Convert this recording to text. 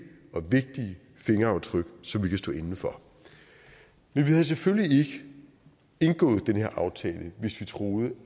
og vægtige fingeraftryk som vi kan stå inde for men vi havde selvfølgelig ikke indgået den her aftale hvis vi troede